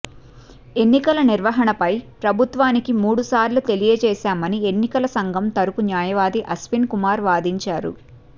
ఎన్నికల నిర్వహణపై ప్రభుత్వానికి మూడు సార్లు తెలియజేశామని ఎన్నికల సంఘం తరపు న్యాయవాది అశ్విన్ కుమార్ వాదించారు